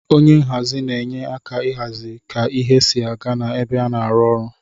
Onye nhazi na enye aka ihazi ka ihe si aga na ebe ana arụ ọrụ.